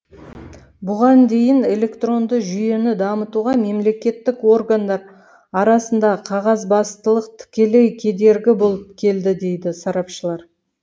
бұған дейін эклектронды жүйені дамытуға мемлекеттік органдар арасындағы қағазбастылық тікелей кедергі болып келді дейді сарапшылар